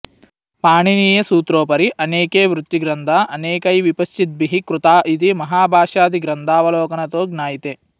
पाणिनीयसूत्रोपरि अनेके वृत्तिग्रन्था अनेकैविपश्चिद्भिः कृता इति महाभाष्यादिग्रन्थावलोकनतो ज्ञायते